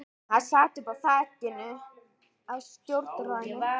Það sat uppi á þakinu á stjórnarráðinu.